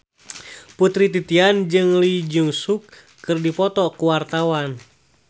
Putri Titian jeung Lee Jeong Suk keur dipoto ku wartawan